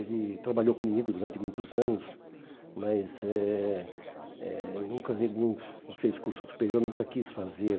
Ele trabalhou comigo durante muitos anos, mas eh eh nunca nunca fez curso superior, nunca quis fazer.